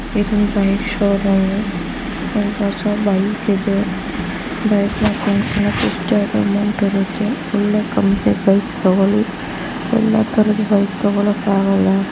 ಈದ್ ಒಂದ್ bike showroom . Bike ಇದೆ. ಒಳ್ಳೆ ಕಂಪನಿ ಬೈಕ್ ತೊಗೋಳಿ. ಯಲ್ಲಾ ತರಹದ್ ಬೈಕ್ ತೊಗೊಳಕ್ಕ್ ಆಗಲ್ಲಾ .